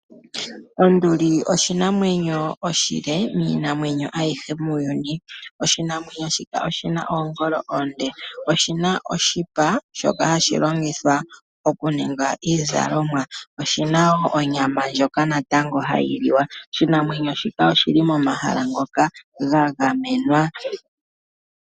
Onduli oshinamwenyo oshile, miinamwenyo ayihe muuyuni. Oshinamwenyo shika oshi na oongolo oonde. Oshi na oshipa shoka hashi longithwa okuninga iizalomwa. Oshi na wo onyama ndjoka natango hayi liwa. Oshinamwenyo shika oshi li momahala ngoka ga gamenwa.